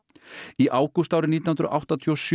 í ágúst árið nítján hundruð áttatíu og sjö